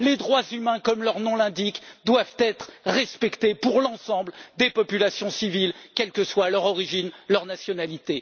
Les droits humains, comme leur nom l'indique, doivent être respectés pour l'ensemble des populations civiles, quelle que soit leur origine, quelle que soit leur nationalité.